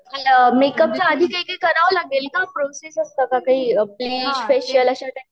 प मेकअपच्या आधी करावं लागेल का प्रोसेस असतं का काही ब्लिच फेशिअल